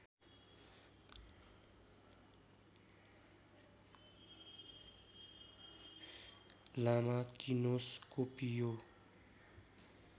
लामा किनोस्कोपिओ